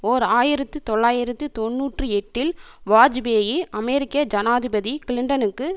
ஓர் ஆயிரத்து தொள்ளாயிரத்து தொன்னூற்றி எட்டில் வாஜ்பேயி அமெரிக்க ஜனாதிபதி கிளின்டனுக்கு